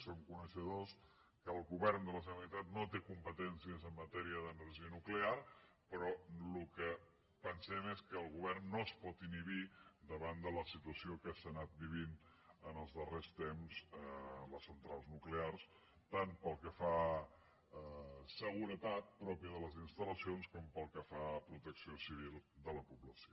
som coneixedors que el govern de la generalitat no té competències en matèria d’energia nuclear però el que pensem és que el govern no es pot inhibir davant de la situació que s’ha anat vivint en els darrers temps a les centrals nuclears tant pel que fa a seguretat pròpia de les instal·lacions com pel que fa a protecció civil de la població